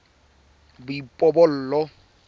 boipobolo